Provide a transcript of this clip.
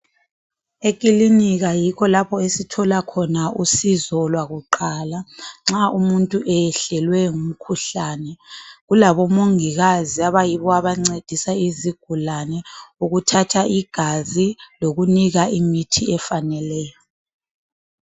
Ekilinika yikho lapho esithola khona usizo lwakuqala nxa umuntu eyehlelwe ngumkhuhlane. Kulabomongikazi abayibo abancedisa izigulane ukuthatha igazi lokunika imithi efaneleyo.